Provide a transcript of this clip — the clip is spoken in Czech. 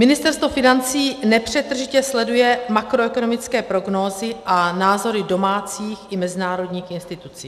Ministerstvo financí nepřetržitě sleduje makroekonomické prognózy a názory domácích i mezinárodních institucí.